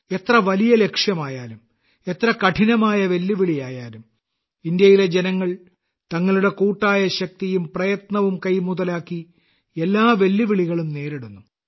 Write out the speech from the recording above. എത്ര വലിയ ലക്ഷ്യമായാലും എത്ര കഠിനമായ വെല്ലുവിളിയായാലും ഇന്ത്യയിലെ ജനങ്ങൾ തങ്ങളുടെ കൂട്ടായ ശക്തിയും പ്രയത്നവും കൈമുതലാക്കി എല്ലാ വെല്ലുവിളികളും നേരിടുന്നു